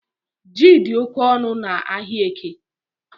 Ji di oke onu n’Ahịaeke